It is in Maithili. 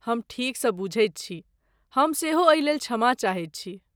हम ठीकसँ बूझैत छी! हम सेहो एहिलेल क्षमा चाहैत छी।